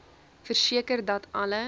verseker dat alle